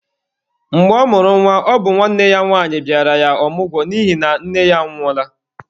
Mgbe ọ mụrụ nwa, ọ bụ nwanne ya nwanyi bịara ya ọmụgwọ n'ihi na nne ya anwụọla.